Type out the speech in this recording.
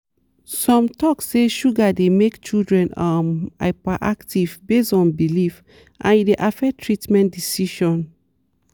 some talk say sugar dey make children um hyperactive based on belief and e dey affect treatment decision.